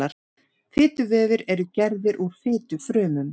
Fituvefir eru gerðir úr fitufrumum.